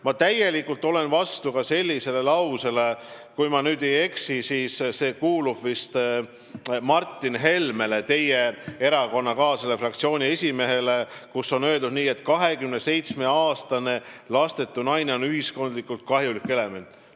Ma olen täielikult vastu ka sellele seisukohale – kui ma ei eksi, siis see kuulub Martin Helmele, teie erakonnakaaslasele ja fraktsiooni esimehele –, et 27-aastane lastetu naine on ühiskonnale kahjulik element.